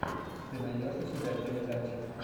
ты найдешь у себя передачи